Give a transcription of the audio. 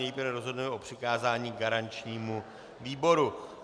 Nejprve rozhodneme o přikázání garančnímu výboru.